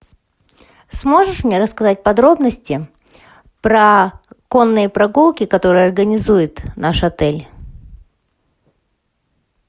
сможешь мне рассказать подробности про конные прогулки которые организует наш отель